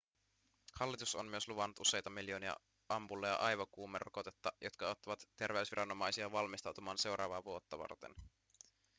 hallitus on myös luvannut useita miljoonia ampulleja aivokuumerokotetta jotka auttavat terveysviranomaisia valmistautumaan seuraavaa vuotta varten